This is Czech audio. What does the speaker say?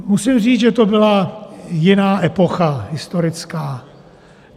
Musím říct, že to byla jiná epocha historická.